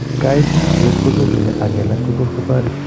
Kaititiet ko chuchuchi ak kelach ko tos ko toret.